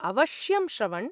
अवश्यं, श्रवण्।